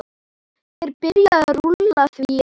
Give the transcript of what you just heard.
Er byrjað rúlla því eða?